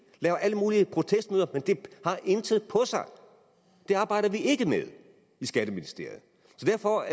laver alle mulige protestmøder men det har intet på sig det arbejder vi ikke med i skatteministeriet så derfor